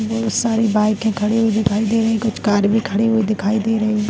बहुत सारी बाइके खड़ी हुई दिखाई दे रही है कुछ कार भी खड़ी हुई दिखाई दे रही है।